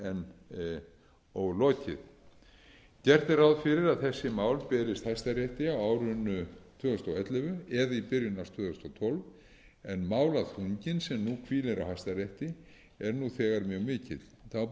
þeirra enn ólokið gert er ráð fyrir að þessi mál berist hæstarétti á árinu tvö þúsund og ellefu eða í byrjun árs tvö þúsund og tólf en málaþunginn sem nú hvílir á hæstarétti er þegar mjög mikill þá